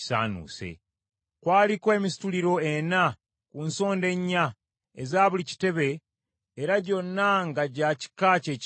Kwaliko emisituliro ena ku nsonda ennya eza buli kitebe era gyonna nga gya kika kyekimu n’ekitebe.